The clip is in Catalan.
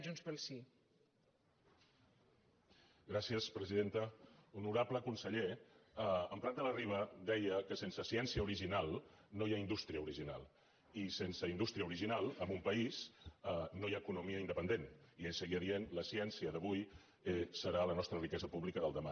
honorable conseller en prat de la riba deia que sense ciència original no hi ha indústria original i sense indústria original en un país no hi ha economia independent i ell seguia dient la ciència d’avui serà la nostra riquesa pública del demà